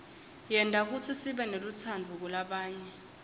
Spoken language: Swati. yenta kutsi sibenelutsaadvu kulabanye